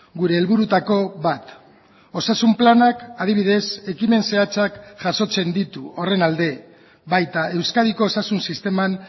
gure helburuetako bat osasun planak adibidez ekimen zehatzak jasotzen ditu horren alde baita euskadiko osasun sisteman